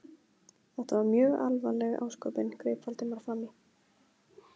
Þetta var mjög alvarleg ásökun- greip Valdimar fram í.